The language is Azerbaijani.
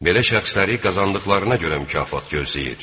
Belə şəxsləri qazandıqlarına görə mükafat gözləyir.